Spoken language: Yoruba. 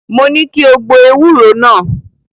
Mo ní kí o gbo ewúro náà.